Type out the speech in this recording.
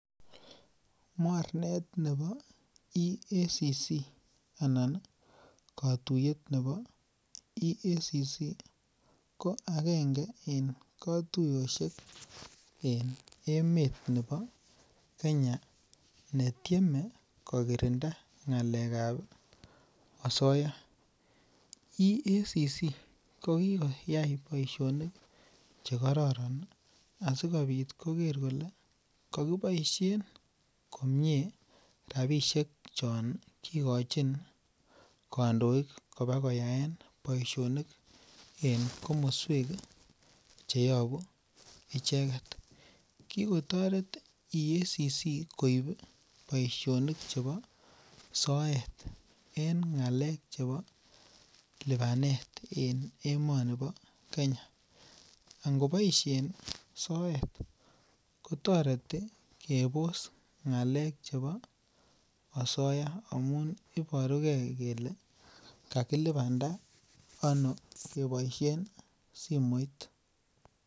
Mornet nebo EACC anan kotuyet nebo EACC ko agenge en kotuiyoshek en emet nebo Kenya netieme kokirinda ngalekab asoya, EACC kokikoyai boisionik chekororon ii asikobit koker kole kokiboishen komie rabishek chon kikochin kondoik kobakoyaen boisionik en komoswek cheyobu icheket kikotoret EACC koib boisionik chebo soet en ngalek chebo libanet en emonibo Kenya angoboishen soet kotoreti kebos ngalek chebo asoya amun iborukee kele kakilibanda ono keboishen simoit.